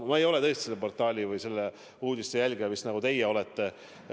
Ma ei ole tõesti selle portaali või nende uudiste jälgija, nagu teie vist olete.